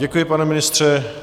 Děkuji, pane ministře.